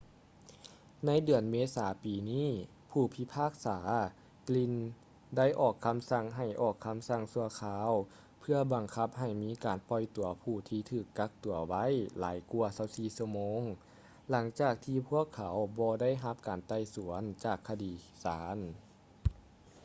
ໃນເດືອນເມສາປີນີ້ ຜູ້ພິພາກສາ glynn ໄດ້ອອກຄໍາສັ່ງໃຫ້ອອກຄໍາສັ່ງຊົ່ວຄາວເພື່ອບັງຄັບໃຫ້ມີການປ່ອຍຕົວຜູ້ທີ່ຖືກກັກຕົວໄວ້ຫຼາຍກວ່າ 24 ຊົ່ວໂມງຫຼັງຈາກທີ່ພວກເຂົາບໍ່ໄດ້ຮັບການໄຕ່ສວນຈາກຄະນະສານ